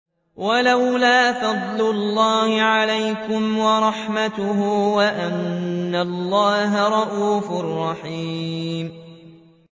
وَلَوْلَا فَضْلُ اللَّهِ عَلَيْكُمْ وَرَحْمَتُهُ وَأَنَّ اللَّهَ رَءُوفٌ رَّحِيمٌ